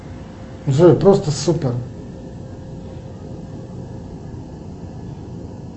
джой просто супер